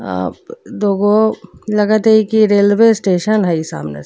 आ दोगो लगत हई कि रेलवे स्टेशन हई सामने।